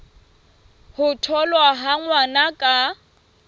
ho tholwa ha ngwana ka